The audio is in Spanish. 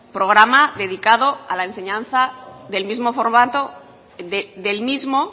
programa dedicado a la enseñanza del mismo formato del mismo